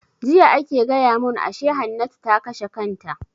Jiya ake gaya mun Hannatu ta kashe kanta